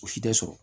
O si tɛ sɔrɔ